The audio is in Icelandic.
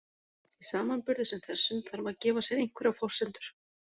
Í samanburði sem þessum þarf að gefa sér einhverjar forsendur.